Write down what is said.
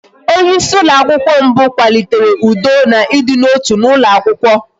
Onyeisi ụlọakwụkwọ mbụ kwalitere ụdọ na ịdị n'otu n'ụlọ akwụkwọ